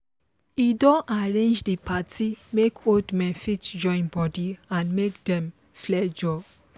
he don arrange the party make old men fit join body and make dem flenjor